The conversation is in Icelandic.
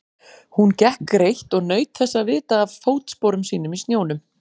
Hún gekk greitt og naut þess að vita af fótsporum sínum í snjónum.